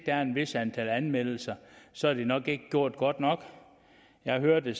er et vist antal anmeldelser så er det nok ikke gjort godt nok jeg har hørt at